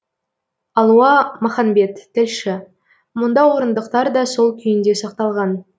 алуа маханбет тілші мұнда орындықтар да сол күйінде сақталған